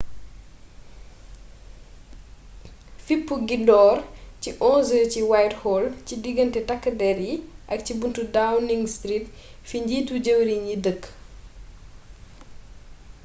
fippu gi door ci 11:00 ci whitehall ci digganté takk dérr yi ak ci buntu downing street fi njiitu jëwriñ yi dëkk